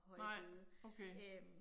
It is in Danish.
Nej, okay